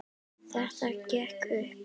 Þetta gekk upp.